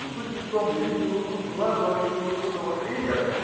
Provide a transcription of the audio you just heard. ну суть не в том я видел игру филатова видел игру того тренер